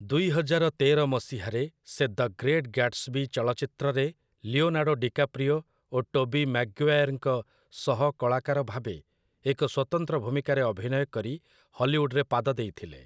ଦୁଇହଜାର ତେର ମସିହାରେ ସେ 'ଦ ଗ୍ରେଟ୍ ଗ୍ୟାଟ୍‌ସବୀ' ଚଳଚ୍ଚିତ୍ରରେ ଲିଓନାର୍ଡ଼ୋ ଡିକାପ୍ରିଓ ଓ ଟୋବୀ ମାଗ୍ଵାୟାର୍‌ଙ୍କ ସହକଳାକାର ଭାବେ ଏକ ସ୍ୱତନ୍ତ୍ର ଭୂମିକାରେ ଅଭିନୟ କରି ହଲିଉଡ୍‌ରେ ପାଦ ଦେଇଥିଲେ ।